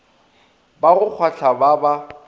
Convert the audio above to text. ba go kgwahla ba ba